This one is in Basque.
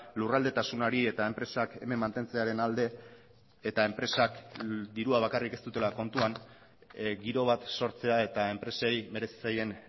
lurraldetasunari eta enpresak hemen mantentzearen alde eta enpresak dirua bakarrik ez dutela kontuan giro bat sortzea eta enpresei merezi zaien